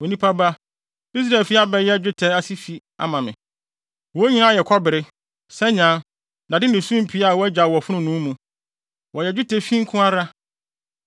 “Onipa ba, Israelfi abɛyɛ dwetɛ ase fi ama me; wɔn nyinaa yɛ kɔbere, sanyaa, dade ne sumpii a wɔagyaw wɔ fononoo mu. Wɔyɛ dwetɛfi nko ara.